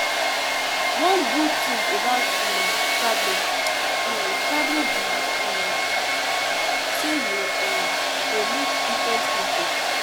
One good thing about um traveling um traveling be um say you um go meet different people